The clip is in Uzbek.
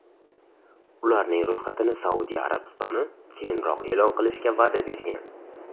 Ularning ro‘yxatini Saudiya Arabistoni keyinroq e’lon qilishga va’da bergan.